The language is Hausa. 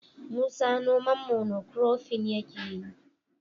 Musa noman mono kurofin yake yi.